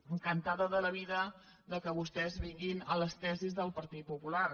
encantada de la vida que vostès vinguin a les tesis del partit popular